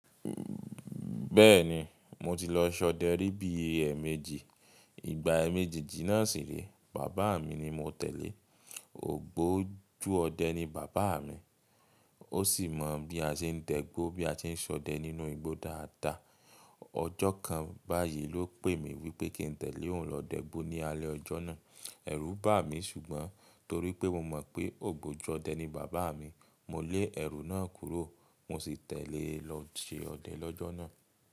Bẹ́ẹ̀ni, mo ti lọ ṣọdẹ rí bí emejì. Ìgbà eméjejì náà sì rèé, bàbá mi ni mo tẹ̀lé. Ògbójú ọdẹ ni bàbá mi, ó sì mọ bí a ṣe ń dẹgbó, bí a ṣe ń ṣọdẹ nínú igbó dáadáa. Ọjọ́ kan báyìí ló pè mi wípé kí n tẹ̀lé òun lọ dẹ́gbó ní alẹ́ ọjọ́ náà. Ẹ̀rù bà mí ṣùgbọ́n torípé mo mọ̀ pé ògbójú ọdẹ ni bàbá mi, mo lé ẹ̀rù náà kúrò, mo sì tẹ̀lé e lọ ṣe ọdẹ lọ́jọ́ náà.